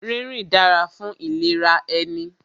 Rínrìn dára fún ìlera ẹni